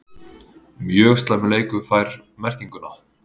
Mjög slæmur leikur fær merkinguna??